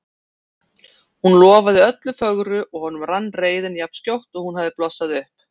Hún lofaði öllu fögru og honum rann reiðin jafn skjótt og hún hafði blossað upp.